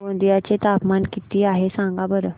गोंदिया चे तापमान किती आहे सांगा बरं